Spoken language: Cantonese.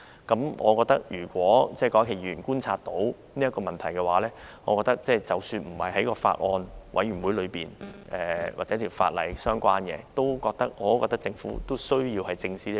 既然郭家麒議員觀察到該等問題，我認為即使不在小組委員會的討論範圍或與有關附屬法例無關，政府仍需要正視該等問題。